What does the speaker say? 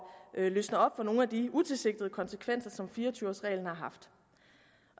løsne op for nogle af de utilsigtede konsekvenser som fire og tyve års reglen har haft